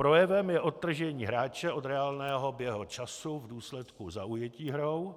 Projevem je odtržení hráče od reálného běhu času v důsledku zaujetí hrou,